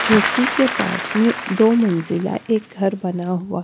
झोपड़ी के पास में दो मंजिला एक घर बना हुआ--